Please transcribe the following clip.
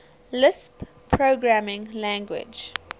lisp programming language